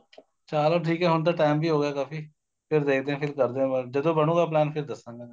ਚਲੋ ਠੀਕ ਏ ਹੁਣ ਤਾਂ time ਵੀ ਹੋ ਗਿਆ ਕਾਫੀ ਫਿਰ ਦੇਖਦੇ ਆ ਫਿਰ ਕਰਦੇ ਆ ਗੱਲ ਜਦੋਂ ਬਣੁਗਾ plain ਫਿਰ ਦੱਸਾਂਗਾ ਮੈਂ